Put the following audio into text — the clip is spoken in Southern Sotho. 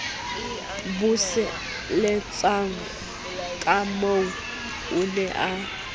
buseletsana kahoo o ne a